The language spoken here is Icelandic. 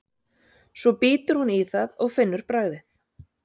Svo bítur hún í það og finnur bragðið.